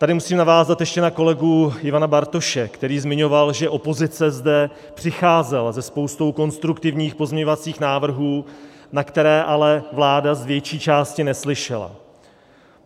Tady musím navázat ještě na kolegu Ivana Bartoše, který zmiňoval, že opozice zde přicházela se spoustou konstruktivních pozměňovacích návrhů, na které ale vláda z větší části neslyšela.